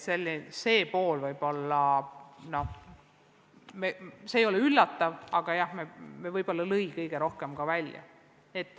See ei ole võib-olla üllatav, aga ilmselt tuli see kõige rohkem välja.